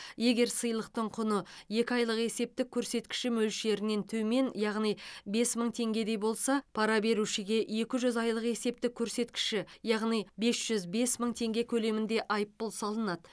егер сыйлықтың құны екі айлық есептік көрсеткіші мөлшерінен төмен яғни бес мың теңгедей болса пара берушіге екі жүз айлық есептік көрсеткіші яғни бес жүз бес мың теңге көлемінде айыппұл салынады